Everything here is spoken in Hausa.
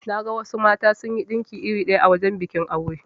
Naga wasu mata sunyi dinki iri ɗaya a wajan bikin aure.